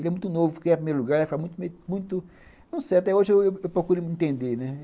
Ele é muito novo, porque é primeiro lugar, ele vai ficar muito, muito... Não sei, até hoje eu procuro entender, né?